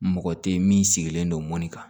Mɔgɔ tɛ min sigilen don mɔni kan